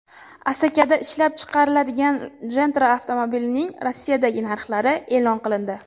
Asakada ishlab chiqariladigan Gentra avtomobilining Rossiyadagi narxlari e’lon qilindi.